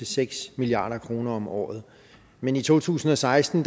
seks milliard kroner om året men i to tusind og seksten